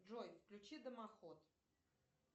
джой включи домоход